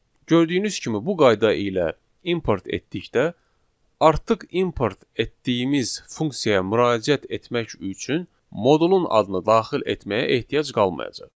Gördüyünüz kimi bu qayda ilə import etdikdə artıq import etdiyimiz funksiyaya müraciət etmək üçün modulun adını daxil etməyə ehtiyac qalmayacaq.